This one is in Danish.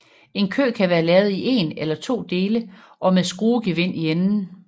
En kø kan være lavet i en eller to dele og med skruegevind i enden